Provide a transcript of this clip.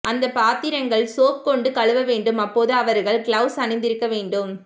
அந்தப் பாத்திரங்கள் சோப் கொண்டு கழுவ வேண்டும் அப்போது அவர்கள் க்ளவுஸ் அணிந்திருக்க வேண்டும்